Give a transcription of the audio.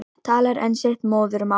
Talar enn sitt móðurmál.